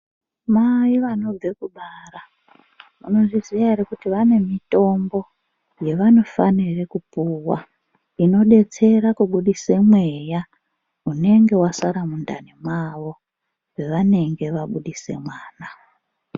Mai vanobve kubara munozviziya here kuti vane mitombo yevanofanire kupuwa inodetsera kubudisa mweya unenge wasara mundani mwawo mwavanenge vabudise mwana.